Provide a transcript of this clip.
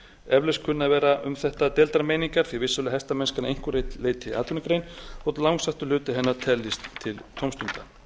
eflaust kunna að vera um þetta deildar meiningar því vissulega er hestamennskan að einhverju leyti atvinnugrein þótt langstærstur hluti hennar teljist til tómstunda